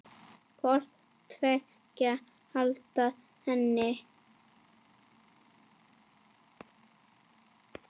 hvort tveggja handa henni.